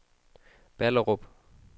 Ballerup